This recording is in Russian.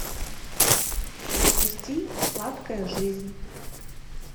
запусти сладкая жизнь